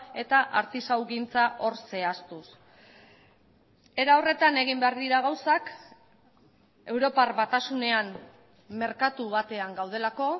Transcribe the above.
eta artisaugintza hor zehaztuz era horretan egin behar dira gauzak europar batasunean merkatu batean gaudelako